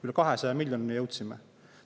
Üle 200 miljonini jõudsime.